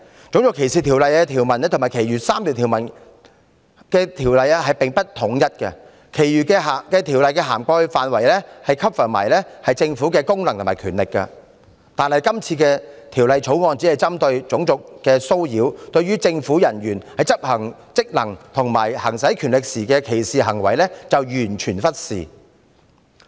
《種族歧視條例》和其餘3項反歧視條例的條文並不一致，其餘的條例涵蓋範圍包括政府的功能和權力，但《條例草案》只針對種族的騷擾，對於政府人員在執行職能和行使權力時的歧視行為則完全忽視。